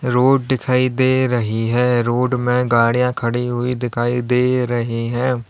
Road दिखाई दे रही है रोड में गाड़ियां खड़ी हुई दिखाई दे रही हैं।